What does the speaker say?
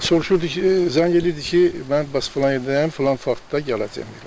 Soruşurdu ki, zəng eləyirdi ki, mən bas filan yerdəyəm, filan vaxtda gələcəm.